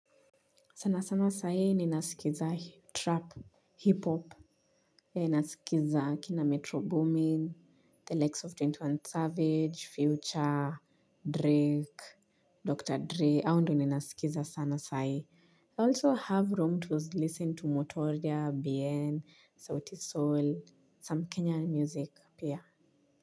Sana sana saa ii ninasikiza trap, hip-hop ya nasikiza kina Metro Boomin, The Likes of ishirini na moja Savage, Future, Drake, Dr. Dre, ao ndo ninasikiza sana saa ii. I also have room to listen to Motoria, bien, Sauti Soul, some Kenyan music pia.